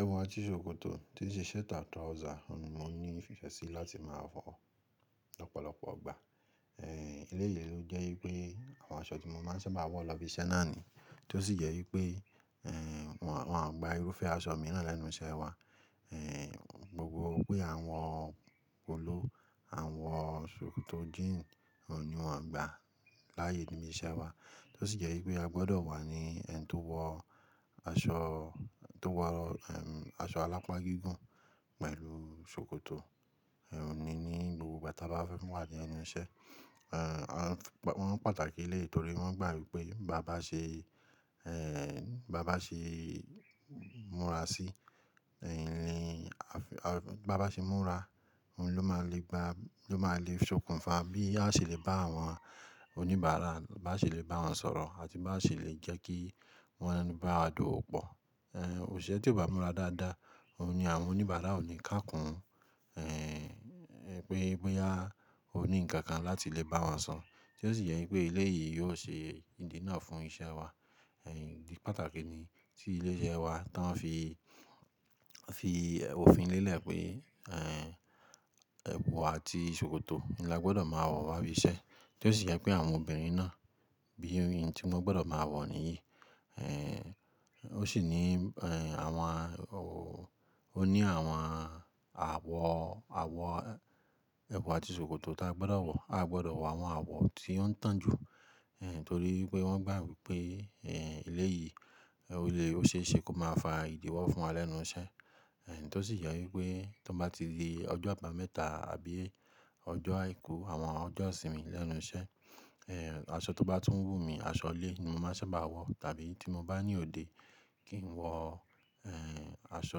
Ẹ̀wù àti ṣòkòtò tí ṣe shirt and trouser ni mo ní ìfẹ́ sí láti máa wọ lọ̀pọ̀lọpọ̀ ọgbà. Ẹ̀ lè ye ló jẹ́ pé àwọn aṣọ tí mo máa ń sábà wọ lọ ibi iṣẹ́ náà ni, tó sì yẹ pé wọ́n à gba irúfẹ́ aṣọ mìíràn lẹ́nu iṣẹ́ wa. Ẹ̀ gbogbo pé à wọ ò pòlo, àa wọ ṣòkòtò jíìnù ò ní wọ́n gba láàyè inú ilé iṣẹ́ wa. Tó sì jẹ pé a gbọ́dọ̀ wà ní ẹni tó wọ aṣọ tó wọ aṣọ alápá gígùn pẹ̀lú ṣòkòtò ní gbogbo ìgbà tí a bá fẹ́ wà ní ẹnu iṣẹ́. Wọ́n pàtàkì elẹ́yìi, torí wọ́n gbà wípé báa ba ṣe, báa ba ṣe múra sí, báa ba ṣe múra ló máa le gba, ló máa le ṣokùn fa bí a ṣe lè bá àwọn oníbàárà, bá ṣe lè bá wọn sọ̀rọ̀ àti bá ṣe lè jẹ́ kí wọ́n bá a dówò pọ̀. Ẹ̀ òsiṣe ẹ́ tí ọ ba múra dáadáa, òun ni àwọn oníbàárà ò ní ká kún un, pé boya ò ní ǹkan kan láti lè bá wọn sọ̀. Tó sì jẹ pé elé yìí yóò ṣe ìdí náà fún iṣẹ́ wa. Ẹ̀ idi pàtàkì ni tí ilé iṣẹ́ wa tán fi, fi òfin lélẹ̀ pé ẹ̀wù àti ṣòkòtò ni a gbọ́dọ̀ máa wọ wá ibi iṣẹ́. Tó sì jẹ pé àwọn obìnrin náà bí i tí wọn gbọ́dọ̀ máa wọ̀ nìyí. Ẹ̀ ó sì ní àwọn òwú, ó ní àwọn àwọ̀, àwọ̀ ẹ̀wù àti ṣòkòtò tí a gbọ́dọ̀ wọ̀, a gbọ́dọ̀ wọ àwọn àwọ̀ tí ó ń tan jú. Ẹ̀ torí pé wọ́n gbà wípé ẹ̀ elé yìí, olé ó ṣe é ṣe kó máa fa ìdíwọ́ fún wa lẹ́nu iṣẹ́. Ẹ̀ tó sì jẹ wípé tó bá ti le ọjọ́ àbámẹ́ta àbí ọjọ́ àìkú àwọn ọjọ́ ìsinmi lẹ́nu iṣẹ́, ẹ̀ aṣọ tó bá tún wù mí, aṣọ ilé ni mo máa sábà wọ̀. Tàbí tí mo bá ní òde kí n wọ̀ ẹ̀ aṣọ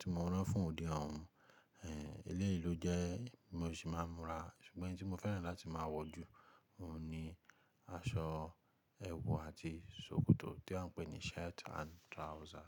tí mo rán fún òde òun. Ẹ̀ elé yìí ló jẹ́ mi ò sì máa ń múra, ṣùgbọ́n ohun tí mo fẹ́ràn láti máa wọ̀ jù òun ni aṣọ ẹ̀wù àti ṣòkòtò tí wọ́n ń pè ní shirt and trouser.